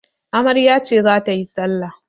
Amarya ce za ta yi salla.